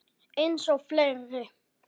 Eins og fleiri.